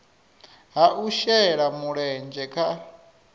ha u shela mulenzhe kha